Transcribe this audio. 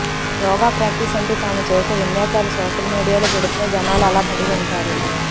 yoga practice అంటూ తాము చేసే విన్యాసాలు సోషల్ మీడియాలో పెడితే జనాలు అలా పడి ఉంటారు